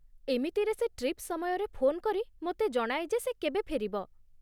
ଏମିତିରେ ସେ ଟ୍ରିପ୍ ସମୟରେ ଫୋନ୍ କରି ମୋତେ ଜଣାଏ ଯେ ସେ କେବେ ଫେରିବ ।